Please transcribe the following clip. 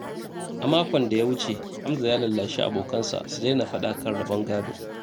A makon da ya wuce, Hamza ya lallashi abokansa su daina faɗa kan rabon gado.